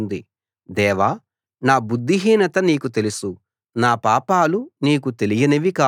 దేవా నా బుద్ధిహీనత నీకు తెలుసు నా పాపాలు నీకు తెలియనివి కావు